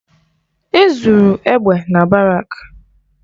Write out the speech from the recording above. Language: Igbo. E zuru egbe na barak